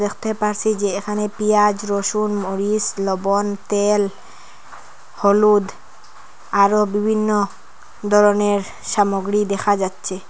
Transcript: দেখতে পারছি যে এখানে পেঁয়াজ রসুন মরিচ লবণ তেল হলুদ আরো বিভিন্ন ধরনের সামগ্রী দেখা যাচ্ছে।